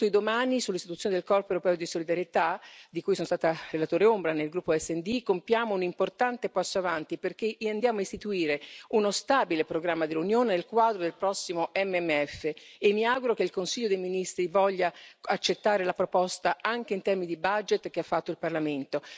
Con il voto di domani sull'istituzione del corpo europeo di solidarietà, di cui sono stata relatore ombra nel gruppo SD, compiamo un importante passo avanti perché andiamo a istituire uno stabile programma dell'Unione nel quadro del prossimo QFP e mi auguro che il Consiglio dei ministri voglia accettare la proposta anche in termini di budget che ha fatto il Parlamento.